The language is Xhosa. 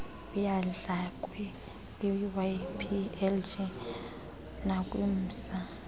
eyandlalwe kwiwplg nakwimsa